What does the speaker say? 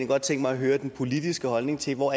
godt tænke mig at høre den politiske holdning til hvor